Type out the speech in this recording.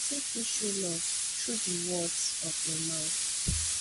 person fit show love through di words of im mouth